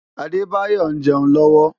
Adebayor ń jẹun lọ́wọ́.